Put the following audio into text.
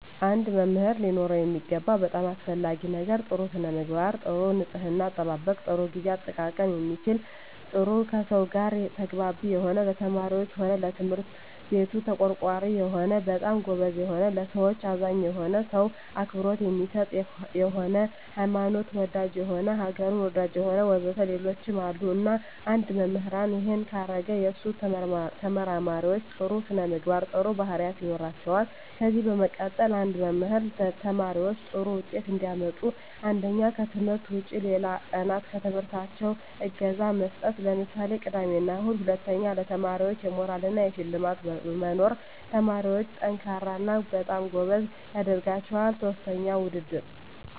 አንድ መምህር ሊኖረው የሚገባው በጣም አሰፈላጊ ነገር ጥሩ ስነምግባር ጥሩ ንጽሕና አጠባበቅ ጥሩ ግዜ አጠቃቀም የሚችል ጥሩ ከሰው ጋር ተግባቢ የሆነ ለተማሪዎች ሆነ ለትምህርት ቤቱ ተቆርቋሪ የሆነ በጣም ጎበዝ የሆነ ለሠዎች አዛኝ የሆነ ሰው አክብሮት የሚሰጥ የሆነ ሀይማኖት ወዳጅ የሆነ አገሩን ወዳጅ የሆነ ወዘተ ሌሎችም አሉ እና አንድ መምህራን እሄን ካረገ የሱ ተመራማሪዎች ጥሩ ስነምግባር ጥሩ ባህሪያት ይኖራቸዋል ከዚ በመቀጠል አንድ መምህር ተማሪዎች ጥሩ ውጤት እንዲያመጡ አንደኛ ከትምህርት ውጭ ሌላ ቀናት በትምህርታቸው እገዛ መስጠት ለምሳሌ ቅዳሜ እሁድ ሁለተኛ ለተማሪዎች የሞራል እና የሽልማት መኖር ተማሪዎች &ጠንካራ እና በጣም ጎበዝ ያደረጋቸዋል ሥስተኛ ውድድር